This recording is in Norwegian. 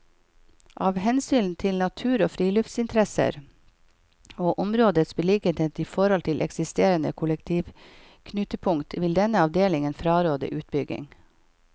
Av hensyn til natur og friluftsinteresser og områdets beliggenhet i forhold til eksisterende kollektivknutepunkt vil denne avdelingen fraråde utbygging.